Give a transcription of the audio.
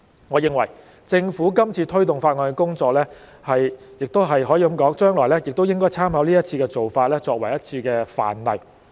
我認為政府今次推動法案的工作，亦可以說將來也應該參考這一次的做法，作為一個範例。